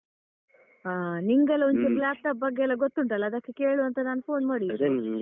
ಹಾ ನಿಂಗೆಲ್ಲ ಒಂಚೂರು laptop ಬಗ್ಗೆಯೆಲ್ಲ ಗೊತ್ತುಂಟಲ್ಲ ಅದಕ್ಕೆ ಕೇಳುವಾಂತ ನಾನ್ phone ಮಾಡಿದ್ದು.